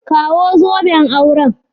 Kawo zoben aure.